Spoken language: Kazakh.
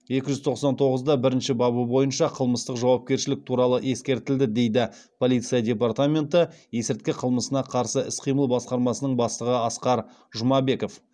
екі жүз тоқсан тоғыз да бірінші бабы бойынша қылмыстық жауапкершілік туралы ескертілді дейді полиция департаменті есірткі қылмысына қарсы іс қимыл басқармасының бастығы асқар жұмабеков